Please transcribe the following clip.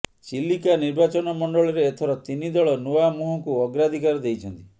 ଚିଲିକା ନିର୍ବାଚନମଣ୍ଡଳୀରେ ଏଥର ତିନି ଦଳ ନୂଆ ମୁହଁକୁ ଅଗ୍ରାଧିକାର ଦେଇଛନ୍ତି